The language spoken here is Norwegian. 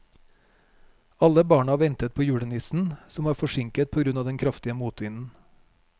Alle barna ventet på julenissen, som var forsinket på grunn av den kraftige motvinden.